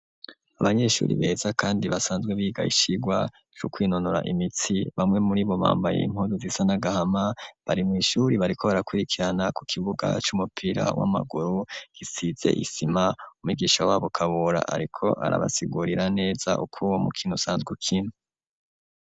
Abanyeshuri beza kandi basanzwe biga icirwa co kwinonura imitsi bamwe muribo bambaye impuzu zisa n'agahama bari mw'ishuri bariko barakwirikirana ku kibuga c'umupira w'amaguru gisize isima umwisha wabo Kabura ariko arabasigurira neza uko uwo mu kino usanzwe ukinwa.